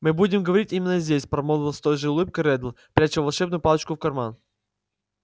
мы будем говорить именно здесь промолвил с той же улыбкой реддл пряча волшебную палочку в карман